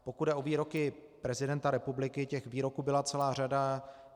Pokud jde o výroky prezidenta republiky, těch výroků byla celá řada.